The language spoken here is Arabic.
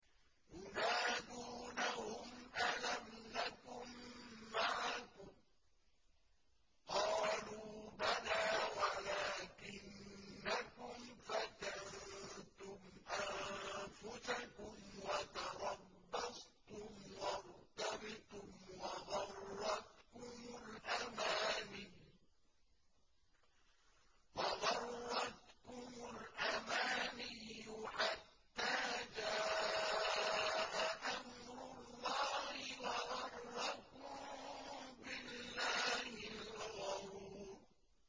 يُنَادُونَهُمْ أَلَمْ نَكُن مَّعَكُمْ ۖ قَالُوا بَلَىٰ وَلَٰكِنَّكُمْ فَتَنتُمْ أَنفُسَكُمْ وَتَرَبَّصْتُمْ وَارْتَبْتُمْ وَغَرَّتْكُمُ الْأَمَانِيُّ حَتَّىٰ جَاءَ أَمْرُ اللَّهِ وَغَرَّكُم بِاللَّهِ الْغَرُورُ